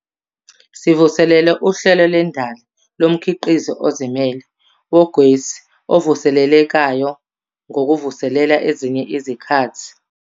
Sivuselele uHlelo Lwendali Lomkhiqizi Ozimele Wogesi Ovuselelekayo ngokuvulela ezinye izikhathi zokufaka izicelo.